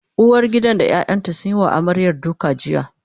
uwargidan da ƴaƴanta sun Yi wa amaryar duka jiya